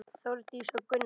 Þórdís og Gunnar.